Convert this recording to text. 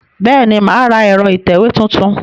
Bẹ́ẹ̀ni, mà á ra ẹ̀rọ ìtẹ̀wé tuntun